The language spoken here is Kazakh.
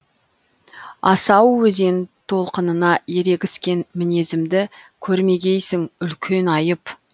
асау өзен толқынына ерегіскен мінезімді көрмегейсің үлкен айып